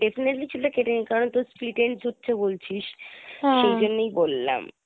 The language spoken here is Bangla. definitely চুল টা কেটে নিও কারণ তোর splitence হচ্ছে বলছিস সেইজন্যই বললাম।